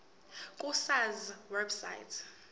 ku sars website